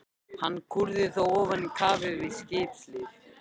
Hann kúrði þó áfram í kafi við skipshlið.